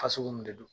Fasugu min de don